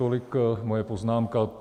Tolik moje poznámka.